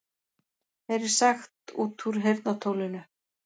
Heyrir sagt út úr heyrnartólinu